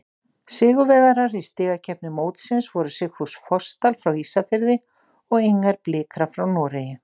Sigurvegarar í stigakeppni mótsins voru Sigfús Fossdal frá Ísafirði og Inger Blikra frá Noregi.